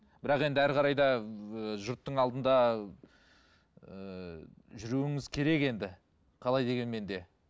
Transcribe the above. бірақ енді әрі қарай да ііі жұрттың алдында ііі жүруіңіз керек енді қалай дегенмен де